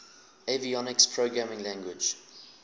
avionics programming language